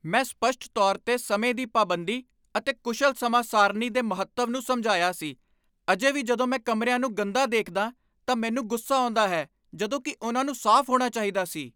ਮੈਂ ਸਪੱਸ਼ਟ ਤੌਰ 'ਤੇ ਸਮੇਂ ਦੀ ਪਾਬੰਦੀ ਅਤੇ ਕੁਸ਼ਲ ਸਮਾਂ ਸਾਰਣੀ ਦੇ ਮਹੱਤਵ ਨੂੰ ਸਮਝਾਇਆ ਸੀ, ਅਜੇ ਵੀ ਜਦੋਂ ਮੈਂ ਕਮਰਿਆਂ ਨੂੰਗੰਦਾ ਦੇਖਦਾ ਤਾਂ ਮੈਨੂੰ ਗੁੱਸਾ ਆਉਂਦਾ ਹੈ ਜਦੋਂ ਕੀ ਉਨ੍ਹਾਂ ਨੂੰ ਸਾਫ਼ ਹੋਣਾ ਚਾਹੀਦਾ ਸੀ!